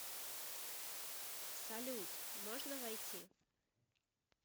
салют можно войти